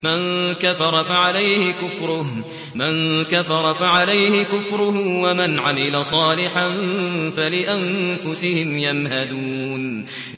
مَن كَفَرَ فَعَلَيْهِ كُفْرُهُ ۖ وَمَنْ عَمِلَ صَالِحًا فَلِأَنفُسِهِمْ يَمْهَدُونَ